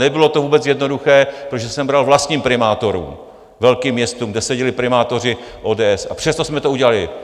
Nebylo to vůbec jednoduché, protože jsem bral vlastním primátorům, velkým městům, kde seděli primátoři ODS, a přesto jsme to udělali.